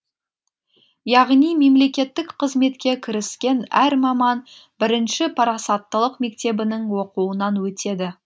яғни мемлекеттік қызметке кіріскен әр маман бірінші парасаттылық мектебінің оқуынан өтеді